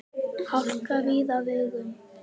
Hálka víða á vegum